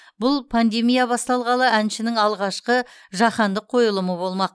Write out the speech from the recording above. бұл пандемия басталғалы әншінің алғашқы жаһандық қойылымы болмақ